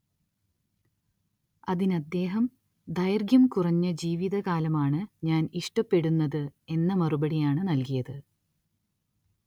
അതിനദ്ദേഹം ദൈർഘ്യം കുറഞ്ഞ ജീവിതകാലമാണ്‌ ഞാൻ ഇഷ്ടപ്പെടുന്നത് എന്ന മറുപടിയാണ് നൽകിയത്.